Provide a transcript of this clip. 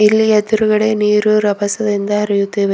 ಇಲ್ಲಿ ಎದ್ರುಗಡೆ ನೀರು ರಬಸದಿಂದ ಹರಿಯುತ್ತಿವೆ.